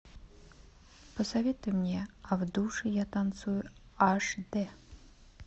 посоветуй мне а в душе я танцую аш д